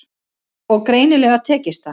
Og greinilega tekist það.